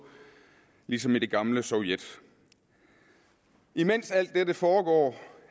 ligesom i det gamle sovjet imens alt dette foregår